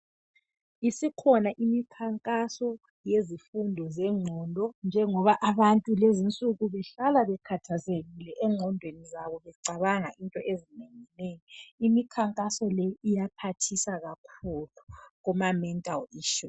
Isikhona imikhankaso yabantu abagula ingqondo njengoba abantu behlala bekhathazekile engqondweni zabo becabanga izinto ezinengi nengi imikhankaso le iyaphathisa kakhulu kuma Mental issues